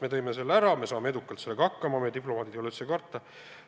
Me tõime selle ära ja saame edukalt sellega hakkama, meie diplomaatidel ei ole midagi karta.